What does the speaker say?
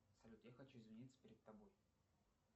салют я хочу извиниться перед тобой